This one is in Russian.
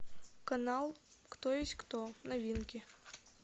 канал кто есть кто новинки